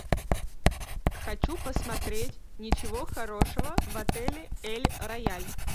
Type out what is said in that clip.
хочу посмотреть ничего хорошего в отеле эль рояль